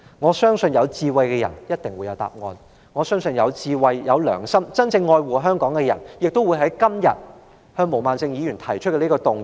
我相信有智慧的人一定會有答案，我相信有智慧、有良心，真正愛護香港的人今天亦會就毛孟靜議員提出的這項議案投贊成票。